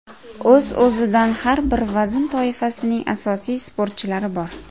O‘z-o‘zidan har bir vazn toifasining asosiy sportchilari bor.